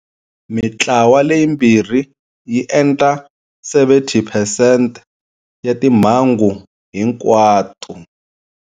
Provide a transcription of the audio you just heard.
Mitlawa leyimbirhi yi endla 70 phesente ya timhangu hinkwato.